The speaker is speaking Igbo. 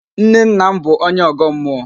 Nnenna m bụ onye Ọ̀gọ́ mmụọ.